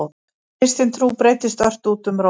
Kristin trú breiddist ört út um Rómaveldi.